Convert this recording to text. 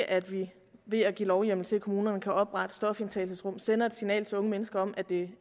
at vi ved at give lovhjemmel til at kommunerne kan oprette stofindtagelsesrum sender et signal til unge mennesker om at det